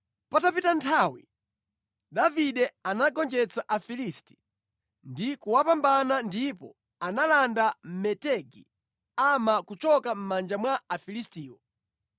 Patapita nthawi, Davide anagonjetsa Afilisti ndi kuwapambana ndipo analanda Metegi Ama kuchoka mʼmanja mwa Afilistiwo.